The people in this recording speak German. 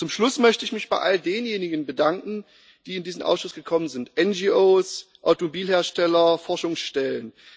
Zum Schluss möchte ich mich bei all denjenigen bedanken, die in diesen Ausschuss gekommen sind NGOs, Automobilhersteller, Forschungsstellen.